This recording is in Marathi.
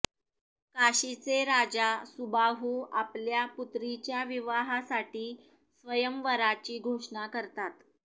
काशीचे राजा सुबाहू आपल्या पुत्रीच्या विवाहासाठी स्वयंवराची घोषणा करतात